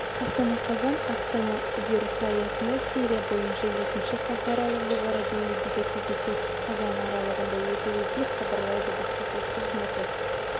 астана қазан астана үдерісі аясында сирия бойынша жетінші халықаралық жоғары деңгейдегі кездесу қазан аралығында өтеді деп хабарлайды баспасөз қызметі